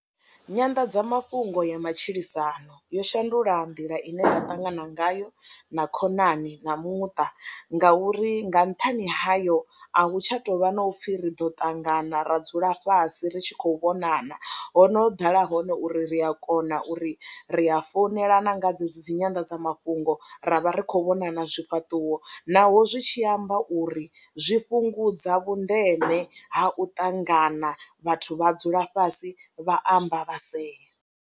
Nyanḓadzamafhungo ya matshilisano yo shandula nḓila ine nda ṱangana ngayo na khonani na muṱa ngauri nga nṱhani hayo a hu tsha tou vha na u pfhi ri ḓo ṱangana ra dzula fhasi ri tshi khou vhonana, ho no ḓala hone uri ri a kona uri ri a founela na nga dzedzi dzi nyanḓadzamafhungo ra vha ri khou vhonana zwifhaṱuwo naho zwi tshi amba uri zwi fhungudza vhundeme ha u ṱangana vhathu vha dzula fhasi vha amba vha sea.